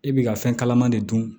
I bɛ ka fɛn kalaman de dun